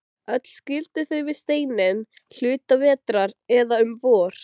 Öll skildu þau við seinni hluta vetrar, eða um vor.